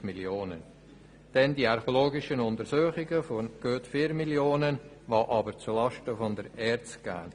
Hinzu kommen die archäologischen Untersuchungen mit rund 4 Mio. Franken, die aber zu Lasten der ERZ gehen.